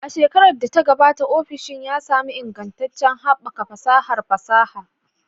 A shekarar da ta gabata, ofishin ya sami ingantaccen haɓaka fasahar fasaha.